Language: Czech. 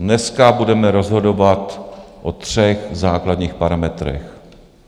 Dneska budeme rozhodovat o třech základních parametrech.